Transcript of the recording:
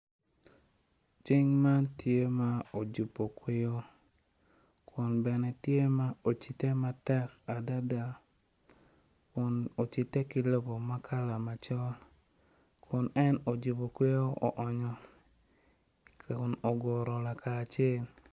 Cing man tye ma ojubo kweyo kun bene tye ma ocide matek dada kun bene oruko bongo kala macol kun en ojubo kweyo oonyo